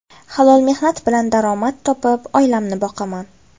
Halol mehnat bilan daromad topib, oilamni boqaman.